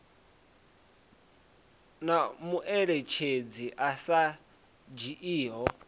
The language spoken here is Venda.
na mueletshedzi a sa dzhiiho